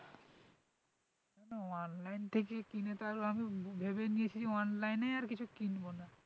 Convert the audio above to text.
Online থেকে কিনে তো আরও আমি ভাবে নিয়েছি যে online এর আর কিছু কিনবো না।